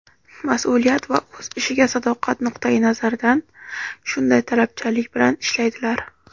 mas’uliyat va o‘z ishiga sadoqat nuqtai nazaridan shunday talabchanlik bilan ishlaydilar.